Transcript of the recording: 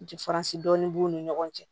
Jafaransi dɔɔni b'u ni ɲɔgɔn cɛ